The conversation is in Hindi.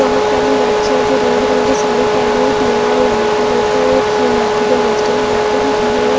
बहुत सारी लड़कियाँ जो रंग बिरंगे साड़ी पहनी हुई पीला और लाल कलर का वो माथे में गजरी लगा के भी खड़ी हैं।